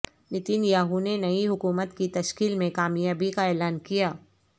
نیتن یاھو نے نئی حکومت کی تشکیل میں کامیابی کا اعلان کیا